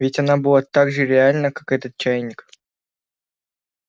ведь она была так же реальна как этот чайник